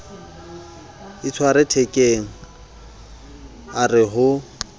itshwere thekeng a re ho